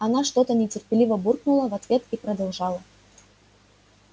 она что-то нетерпеливо буркнула в ответ и продолжала